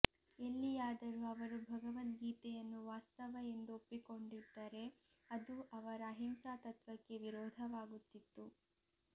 ಎಲ್ಲಿಯಾದರೂ ಅವರು ಭಗವದ್ಗೀತೆಯನ್ನು ವಾಸ್ತವ ಎಂದು ಒಪ್ಪಿಕೊಂಡಿದ್ದರೆ ಅದು ಅವರ ಅಹಿಂಸಾ ತತ್ವಕ್ಕೆ ವಿರೋಧವಾಗುತ್ತಿತ್ತು